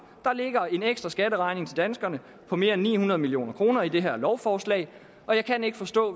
der ligger en ekstra skatteregning til danskerne på mere end ni hundrede million kroner i det her lovforslag jeg kan ikke forstå